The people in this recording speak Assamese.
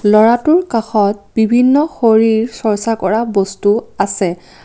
ল'ৰাটোৰ কাষত বিভিন্ন শৰীৰ চৰ্চা কৰা বস্তু আছে।